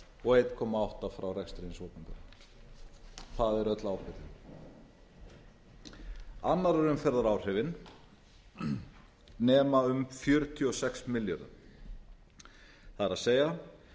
og einn komma átta frá rekstri hins opinbera það er öll ábyrgðin annarrar umferðar áhrifin nema um fjörutíu og sex milljörðum það er